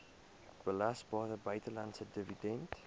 belasbare buitelandse dividend